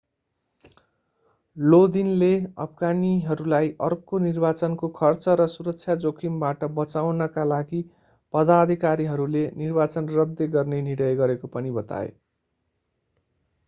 लोदिनले अफगानीहरूलाई अर्को निर्वाचनको खर्च र सुरक्षा जोखिमबाट बचाउनका लागि पदाधिकारीहरूले निर्वाचन रद्द गर्ने निर्णय गरेको पनि बताए